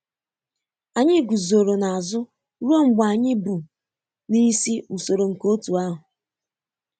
Anyị guzoro n'azụ ruo mgbe anyị bu n'isi usoro nke otu ahụ